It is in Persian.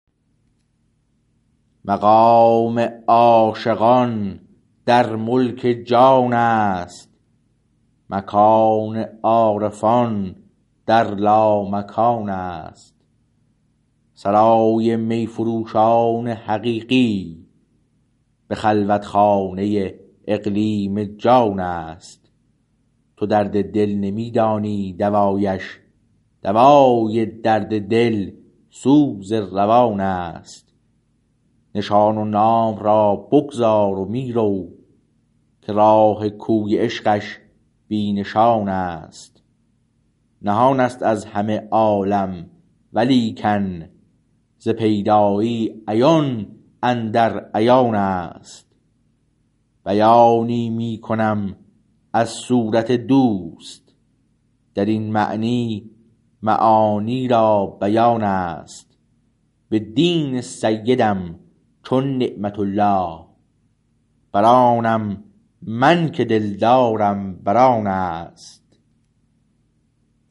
مقام عاشقان در ملک جان است مکان عارفان در لامکان است سرای می فروشان حقیقی به خلوت خانه اقلیم جان است تو درد دل نمی دانی دوایش دوای درد دل سوز روان است نشان و نام را بگذار و می رو که راه کوی عشقش بی نشان است نهان است از همه عالم ولیکن ز پیدایی عیان اندر عیان است بیانی می کنم از صورت دوست در این معنی معانی را بیان است به دین سیدم چون نعمت الله برآنم من که دلدارم بر آن است